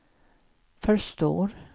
förstår